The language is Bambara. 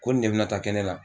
Ko ni ne bi na taa kɛ ne la